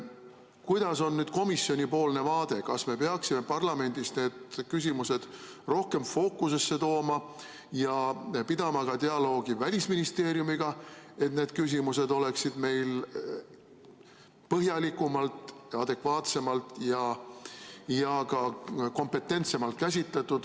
Kuidas on nüüd komisjoni vaade, kas me peaksime parlamendis need küsimused rohkem fookusesse tooma ja pidama dialoogi ka Välisministeeriumiga, et need küsimused oleksid meil põhjalikumalt, adekvaatsemalt ja ka kompetentsemalt käsitletud?